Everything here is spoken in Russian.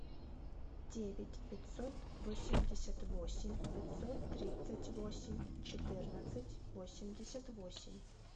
девять пятьсот восемьдесят восемь пятьсот тридцать восемь четырнадцать восемьдесят восемь